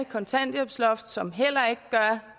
kontanthjælpsloft som heller ikke gør